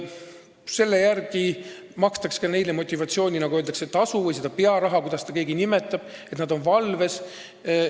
Selle järgi makstakse neile motivatsioonitasu või nagu öeldakse, pearaha – kuidas keegi seda nimetab – selle eest, et nad on valves.